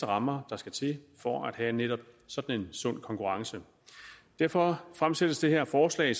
rammer der skal til for at have netop sådan en sund konkurrence derfor fremsættes det her forslag